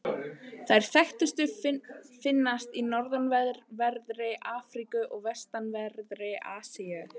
Þær þekktustu finnast í norðanverðri Afríku og vestanverðri Asíu.